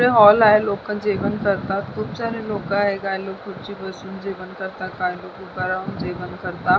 इथे हॉल आहे लोक जेवण करतात खुप सारे लोक आहे काही लोक खुर्चीवर बसून जेवण करतात काही लोक उभाराहुन जेवण करतात.